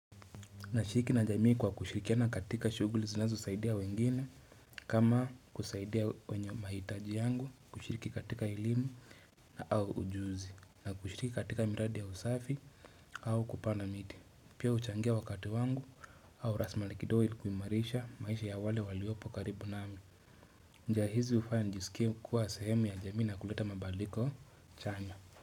Nashiriki na jamii kwa kushirikiana katika shuguli zinazosaidia wengine kama kusaidia wenye mahitaji yangu kushiriki katika elimu na au ujuzi na kushiriki katika miradi ya usafi au kupana miti. Pia uchangia wakati wangu au rasmali kido ili kuimarisha maisha ya wale waliopo karibu nami. Njia hizi ufanya nijisikie kuwa sehemi ya jamii na kuleta mabaliko chana.